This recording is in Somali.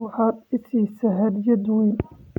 Waxaad i siisay hadiyad weyn